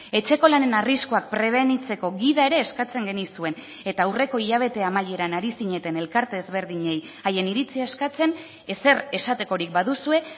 etxeko lanen arriskuak prebenitzeko gida ere eskatzen genizuen eta aurreko hilabete amaieran ari zineten elkarte ezberdinei haien iritzia eskatzen ezer esatekorik baduzue